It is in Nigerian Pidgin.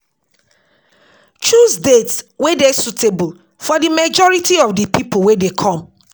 Choose date wey dey suitable for di majority of di pipo wey dey come